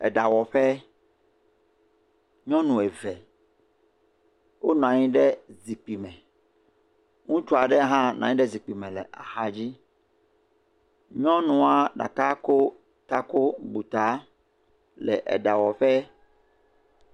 Eɖawɔƒe. nyɔnu eve wonɔ anyi ɖe zikpui me. Ŋutsu aɖe hã nɔ anyi ɖe zikpui me le aɔa dzi. Nyɔnua ɖeka ko taku bu ta le eɖeawɔƒe.